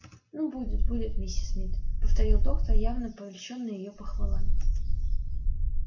ну будет будет миссис мид повторил доктор явно польщённый её похвалами